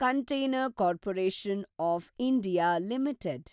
container Corporation of India limited